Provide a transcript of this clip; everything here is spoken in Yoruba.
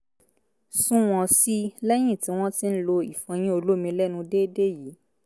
sunwọ̀n sí i lẹ́yìn tí wọ́n ti ń lo ìfọyín olómi lẹ́nu déédéé yìí